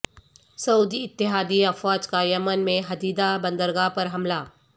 سعودی اتحادی افواج کا یمن میں حدیدہ بندرگاہ پر حملہ